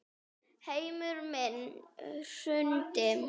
Heimur minn hrundi.